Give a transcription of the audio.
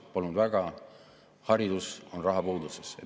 Palun väga, haridus on rahapuuduses.